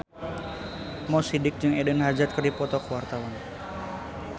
Mo Sidik jeung Eden Hazard keur dipoto ku wartawan